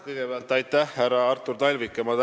Kõigepealt aitäh, härra Artur Talvik!